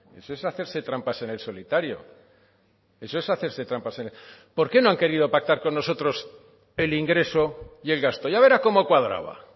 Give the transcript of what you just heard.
eso es hacerse trampas en el solitario eso es hacerse trampas por qué no han querido pactar con nosotros el ingreso y el gasto ya verá cómo cuadraba